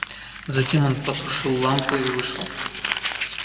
затем он потушил лампу и вышел